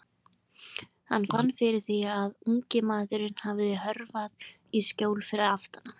Hann fann fyrir því að ungi maðurinn hafði hörfað í skjól fyrir aftan hann.